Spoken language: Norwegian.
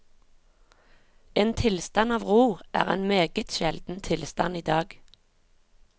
En tilstand av ro er en meget sjelden tilstand i dag.